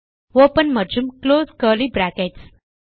open மற்றும் close curly brackets